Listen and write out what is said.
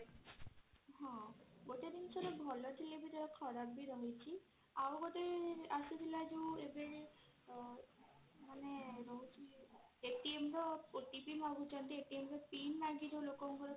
ହଁ ଗୋଟେ ଜିନିଷର ଭଲ ଥିଲେ ବି କ୍ଷରବ ବି ରହିଛି ଆଉ ଗୋଟେ ଯୋଉ ଆସିଥିଲା ଏବେ ମାନେ ର OTP ମାଗୁଛନ୍ତି ର PIN ମାଗି ଲୋକ ଙ୍କର